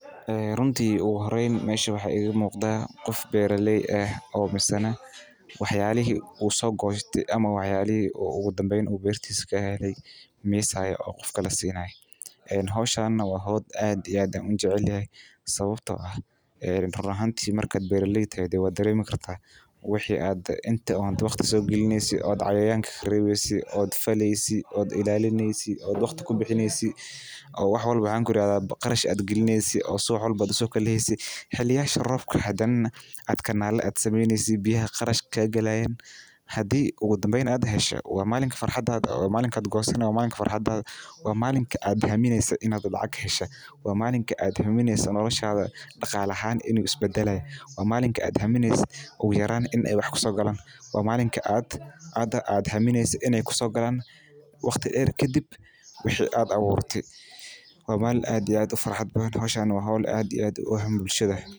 Runtii ugu horeyn meesha waxaa iiga umuqda nin beeraley ah oo waxiisa oo abuuraye in la helo waqti deer uu shaqeeyo sida kaninada lakin waxa muhiim ah in la isticmaalo waxeey kobcisa dalaga ilaa laba jeer waxa laga helo wax yaabo fara badan.